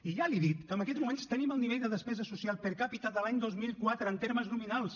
i ja li he dit que en aquests moments tenim el nivell de despesa social per capita de l’any dos mil quatre en termes nominals